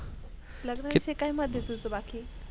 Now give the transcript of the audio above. लग्नाविषयी काय मत आहे तुझ बाकी?